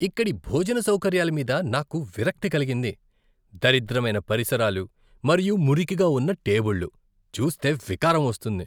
ఇక్కడి భోజన సౌకర్యాల మీద నాకు విరక్తి కలిగింది. దరిద్రమైన పరిసరాలు మరియు మురికిగా ఉన్న టేబుళ్లు, చూస్తే వికారం వస్తుంది.